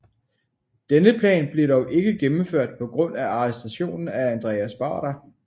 Denne plan blev dog ikke gennemført på grund af arrestationen af Andreas Baader